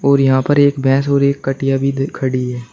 और यहां पर एक भैंस और एक कटिया भी खड़ी है।